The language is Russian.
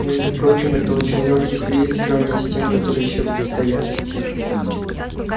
между прочим это очень лёгкий кризис в сравнении с тем которые ещё предстоят